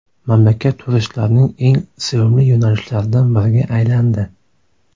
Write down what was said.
Mamlakat turistlarning eng sevimli yo‘nalishlaridan biriga aylandi.